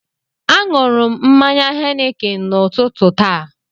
Aṅụrụ m mmanya Henikin n'ụtụtụ taa